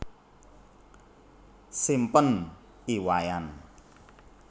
Simpen I Wayan